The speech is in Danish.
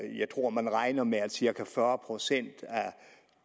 jeg tror man regner med at cirka fyrre procent af